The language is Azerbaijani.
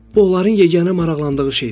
Bu onların yeganə maraqlandığı şeydir.